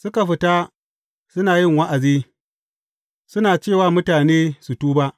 Suka fita, suna yi wa’azi, suna ce wa mutane su tuba.